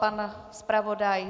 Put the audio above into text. Pan zpravodaj?